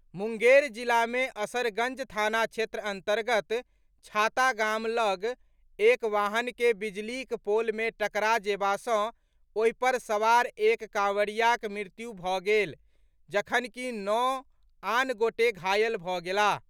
मुंगेर जिला मे असरगंज थाना क्षेत्र अंतर्गत छाता गाम लऽग एक वाहन के बिजलीक पोल मे टकरा जेबा सॅ ओहि पर सवार एक कांवरियाक मृत्यु भऽ गेल जखनकि नओ आन गोटे घायल भऽ गेलाह।